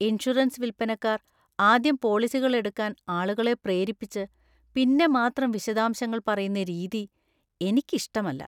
Insurance വിൽപ്പനക്കാർ ആദ്യം പോളിസികൾ എടുക്കാൻ ആളുകളെ പ്രേരിപ്പിച്ച് പിന്നെ മാത്രം വിശദാംശങ്ങള്‍ പറയുന്ന രീതി എനിക്കിഷ്ടല്ല.